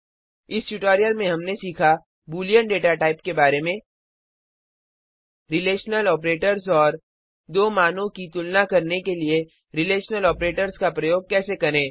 इस ट्यूटोरियल में हमने सीखा बूलियन डेटा टाइप के बारे में रिलेशनल ऑपरेटर्स और दो मानों की तुलना करने के लिए रिलेशनल ऑपरेटर्स का प्रयोग कैसे करें